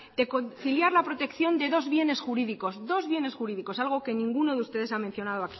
de conciliar la protección de dos bienes jurídicos dos bienes jurídicos algo que ninguno de ustedes ha mencionado